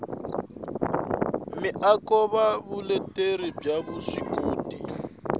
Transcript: miako na vuleteri bya vuswikoti